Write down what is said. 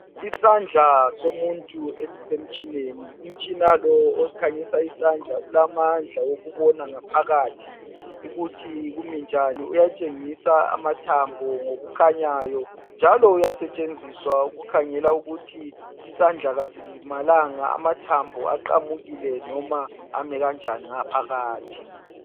Isandla somuntu esisemtshineni. Umtshina lo okhanyisa isandla ulamandla okubona ngaphakathi ukuthi kumi njani. Uyatshengisa amathambo ngokukhanyayo njalo uyasetshenziswa ukukhangela ukuthi isandla kasilimalanga, amathambo aqamukile noma ami kanjani ngaphakathi.